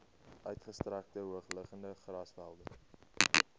uitgestrekte hoogliggende grasvelde